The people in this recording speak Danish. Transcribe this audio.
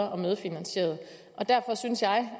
og har medfinansieret derfor synes jeg